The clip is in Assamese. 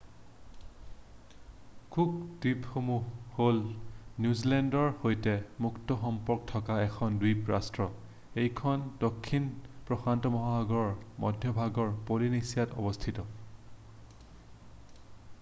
কুক দ্বীপপুঞ্জ হ'ল নিউজিলেণ্ডৰ সৈতে মুক্ত সম্পৰ্ক থকা এখন দ্বীপ ৰাষ্ট্ৰ এইখন দক্ষিণ প্ৰশান্ত মহাগৰৰ মধ্যভাগৰ পলিনেচিয়াত অৱস্থিত